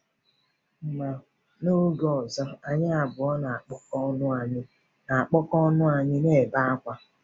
Ma n’oge ọzọ, anyị abụọ na-akpọku ọnụ anyị na-akpọku ọnụ anyị na -ebe akwa.